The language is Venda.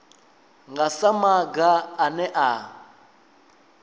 nga sa maga ane a